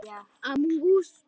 Ef ég bara hefði sagt.